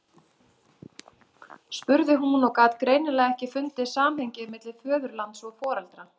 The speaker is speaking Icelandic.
spurði hún og gat greinilega ekki fundið samhengið milli föðurlands og foreldra.